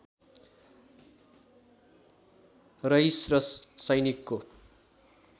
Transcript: रइस र सैनिकको